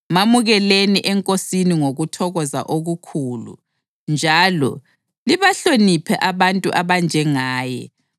Mamukeleni eNkosini ngokuthokoza okukhulu njalo libahloniphe abantu abanjengaye